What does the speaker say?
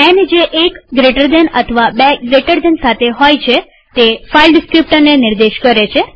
ન જે એક જમણા ખૂણાવાળા કૌંસ અથવા બે જમણા ખૂણાવાળા કૌંસ સાથે હોય છે તે ફાઈલ ડીસ્ક્રીપ્ટરને નિર્દેશ કરે છે